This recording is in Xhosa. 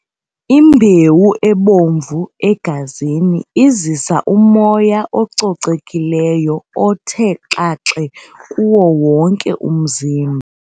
Imbewu ebomvu egazini izisa umoya ococekileyo othe xaxe kuwo wonke umzimba.